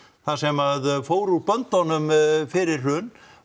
það sem að fór úr böndunum fyrir hrun